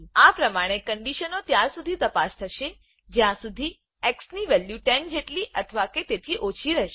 આ પ્રમાણે ક્ન્ડીશનો ત્યાર શુધી તપાસ થશે જ્યાં શુધી xની વેલ્યુ 10જેટલી અથવા કે તેથી ઓછી રહેશે